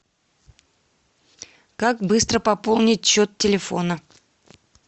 как быстро пополнить счет телефона